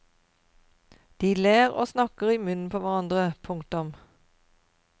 De ler og snakker i munnen på hverandre. punktum